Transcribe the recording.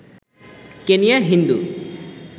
Kenya Hindu